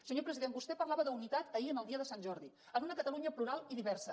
senyor president vostè parlava d’unitat ahir el dia de sant jordi en una catalunya plural i diversa